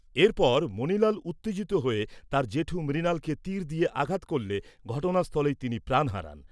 এরপর মণিলাল উত্তেজিত হয়ে তার জেঠু মৃণালকে তির দিয়ে আঘাত করলে ঘটনাস্থলেই তিনি প্রাণ হারান।